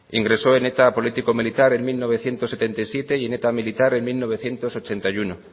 ingresó en eta político militar en mil novecientos setenta y siete y en eta militar en mila bederatziehun eta laurogeita bat